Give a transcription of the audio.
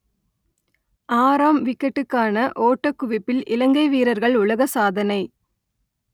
ஆறாம் விக்கெட்டுக்கான ஓட்டக் குவிப்பில் இலங்கை வீரர்கள் உலக சாதனை